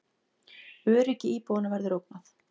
Öryggi íbúanna verður ógnað